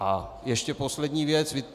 A ještě poslední věc.